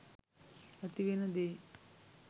ඇතිවෙන දේ.